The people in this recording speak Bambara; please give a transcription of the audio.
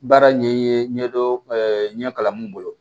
Baara ɲɛ ye ɲɛ ɲɛ dɔ ɲɛ kalan mun bolo